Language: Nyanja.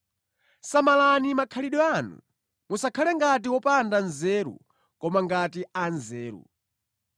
Samalani makhalidwe anu, musakhale ngati opanda nzeru koma ngati anzeru.